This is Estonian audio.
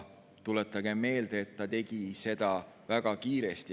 Kuid ta tegi seda, tuletagem meelde, väga kiiresti.